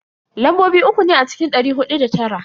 Lambobi uku ne a cikin dari hudu da tara.